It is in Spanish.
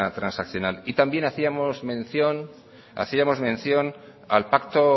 transaccional y también hacíamos mención al pacto